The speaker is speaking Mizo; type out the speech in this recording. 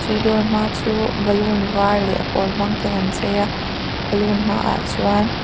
chu dawr hma chu balloon var leh a pawl hmang ten an chei a balloon hmaah chuan--